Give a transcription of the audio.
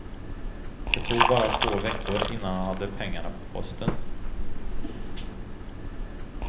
Det tog bara två veckor innan han hade pengarna på posten.